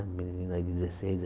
Um aí de dezesseis